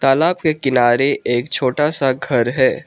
तालाब के किनारे एक छोटा सा घर हैं।